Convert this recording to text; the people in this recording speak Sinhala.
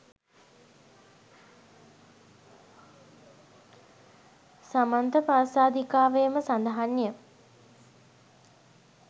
සමන්තපාසාදිකාවේම සඳහන් ය